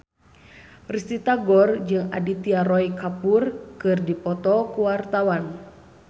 Risty Tagor jeung Aditya Roy Kapoor keur dipoto ku wartawan